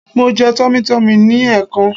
Mo jẹ Tummy tummy ní ẹ̀ẹ̀kan